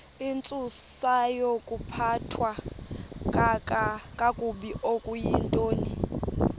intsusayokuphathwa kakabi okuyintoni